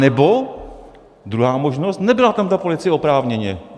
Anebo druhá možnost - nebyla tam ta policie oprávněně.